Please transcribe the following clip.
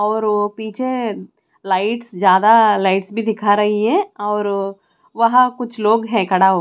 और ओ पीछे लाईट्स ज्यादा लाईट्स भी दिखा रही है और ओ और वह कुछ लोग है खड़ा--